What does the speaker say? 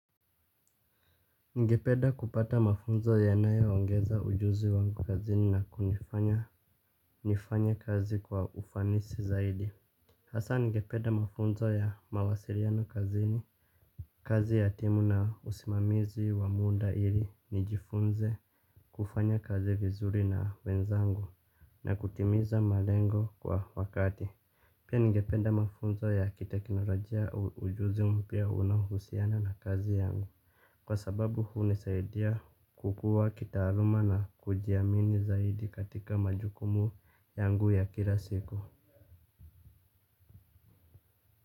Ningependa kupata mafunzo yanayoongeza ujuzi wangu kazini na kunifanya nifanye kazi kwa ufanisi zaidi. Hasa ningepeda mafunzo ya mawasiliano kazini. Kazi ya timu na usimamizi wa muda ili nijifunze kufanya kazi vizuri na wenzangu na kutimiza malengo kwa wakati. Pia ningepeda mafunzo ya kiteknolojia ujuzi mpya unaohusiana na kazi yangu. Kwa sababu hunisaidia kukua kitaaluma na kujiamini zaidi katika majukumu yangu ya kila siku.